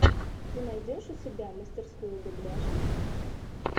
ты найдешь у себя мастерскую дубляжа